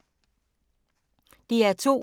DR2